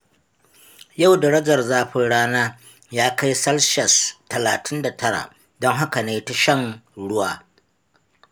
Yau darajar zafin rana ya kai salshas talatin da tara, don haka na yi ta shan ruwa.